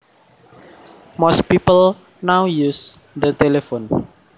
Most people now use the telephone